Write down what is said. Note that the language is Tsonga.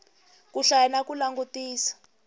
ku hlaya na ku langutisa